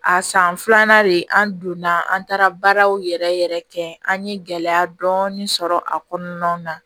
A san filanan de an donna an taara baaraw yɛrɛ yɛrɛ kɛ an ye gɛlɛya dɔɔnin sɔrɔ a kɔnɔnaw na